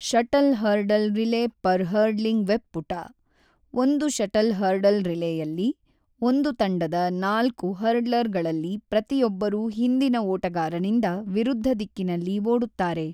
Shuttle hurdle relay per hurdling web ಪುಟ: ಒಂದು shuttle hurdle ರಿಲೇಯಲ್ಲಿ, ಒಂದು ತಂಡದ ನಾಲ್ಕು ಹರ್ಡ್ಲರ್‌ಗಳಲ್ಲಿ ಪ್ರತಿಯೊಬ್ಬರೂ ಹಿಂದಿನ ಓಟಗಾರನಿಂದ ವಿರುದ್ಧ ದಿಕ್ಕಿನಲ್ಲಿ ಓಡುತ್ತಾರೆ.